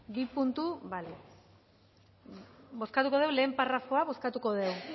bozkatuko dugu lehen parrafoa